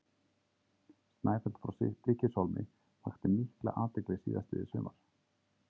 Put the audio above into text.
Snæfell frá Stykkishólmi vakti mikla athygli síðastliðið sumar.